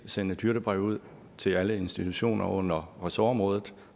sende et hyrdebrev ud til alle institutioner under ressortområdet